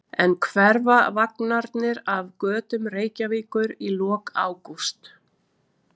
En hverfa vagnarnir af götum Reykjavíkur í lok ágúst?